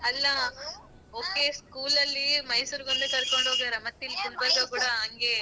ಅಲ್ಲ okay school ಅಲ್ಲಿ ಮೈಸೂರಿಗ್ ಒಂದೇ ಕರ್ಕೊಂಡ್ ಹೋಗ್ಯಾರ ಮತ್ ಇಲ್ಲಿ ಗುಲ್ಬರ್ಗ ಕೂಡ ಹಂಗೆ.